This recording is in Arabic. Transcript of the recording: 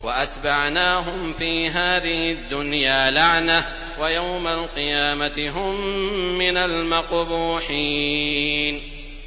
وَأَتْبَعْنَاهُمْ فِي هَٰذِهِ الدُّنْيَا لَعْنَةً ۖ وَيَوْمَ الْقِيَامَةِ هُم مِّنَ الْمَقْبُوحِينَ